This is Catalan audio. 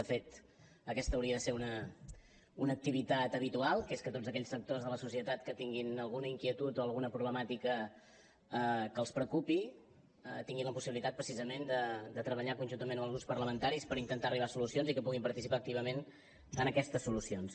de fet aquesta hauria de ser una activitat habitual que és que tots aquells sectors de la societat que tinguin alguna inquietud o alguna problemàtica que els preocupi tinguin la possibilitat precisament de treballar conjuntament amb els grups parlamentaris per intentar arribar a solucions i que puguin participar activament en aquestes solucions